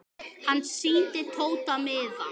Pétur og félagar mæta.